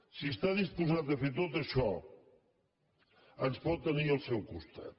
si està disposat a fer tot això ens pot tenir al seu costat